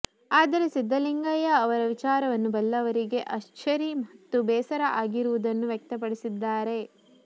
ಆದರೆ ಸಿದ್ದಲಿಂಗಯ್ಯ ಅವರ ವಿಚಾರವನ್ನು ಬಲ್ಲವರಿಗೆ ಅಚ್ಚರಿ ಮತ್ತು ಬೇಸರ ಆಗಿರುವುದನ್ನು ವ್ಯಕ್ತಪಡಸಿದ್ದಾರೆ